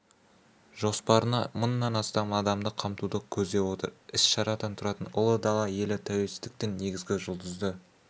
жоспарына мыңнан астам адамды қамтуды көздеп отырған іс-шарадан тұратын ұлы дала елі тәуелсіздіктің негізі жұлдызды